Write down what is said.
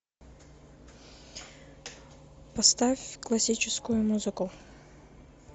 поставь классическую музыку